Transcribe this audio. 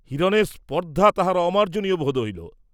হিরণের স্পর্ধা তাঁহার অমার্জ্জনীয় বোধ হইল!